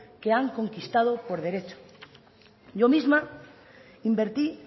que han conquistado por derecho yo misma invertí